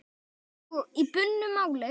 Og í bundnu máli